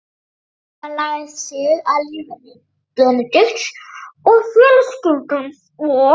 Hilmar lagað sig að líferni Benedikts og fjölskyldu hans og